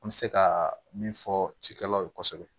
An bɛ se ka min fɔ cikɛlaw ye kosɛbɛ